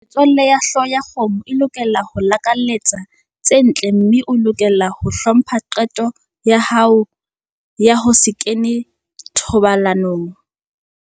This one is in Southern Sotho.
Metswalle ya hlooho ya kgomo e lokela ho o lakaletsa tse ntle mme e lokela ho hlompha qeto ya hao ya ho se kene thobalanong.